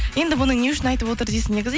енді бұны не үшін айтып отыр дейсің негізі